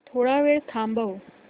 थोडा वेळ थांबव